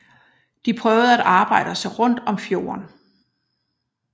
De prøvede at arbejde sig rundt om fjorden